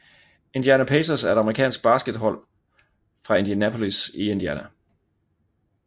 Indiana Pacers er et amerikansk basketballhold fra Indianapolis i Indiana